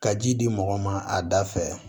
Ka ji di mɔgɔ ma a da fɛ